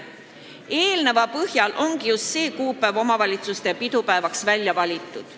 Eeltoodu põhjal ongi just see kuupäev omavalitsuste pidupäevaks välja valitud.